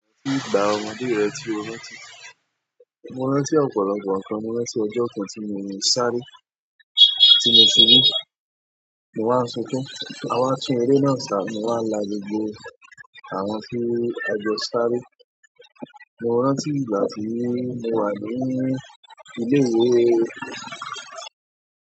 Kí nìgbà ọmọdé rẹ tí o rántí? Mo rántí ọ̀pọ̀lọpọ̀ nǹkan, mo rántí ọjọ́ kan tí mo ń sáré, tí mo ṣubú, mo wá ń sunkún, a wá tún eré náà sá, mo wá la gbogbo àwọn tí a jọ sáré. Mo rántí ìgbà ti mo wà ní ilé-ìwé.